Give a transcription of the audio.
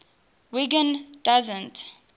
wiggin doesn t